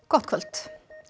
gott kvöld